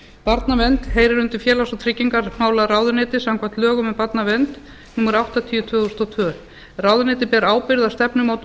barnavernd heyrir undir félags og tryggingamálaráðuneytið samkvæmt lögum um barnavernd númer áttatíu tvö þúsund og tvö ráðuneytið ber ábyrgð á stefnumótun